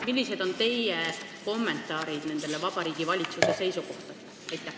Millised on teie kommentaarid Vabariigi Valitsuse seisukohtadele?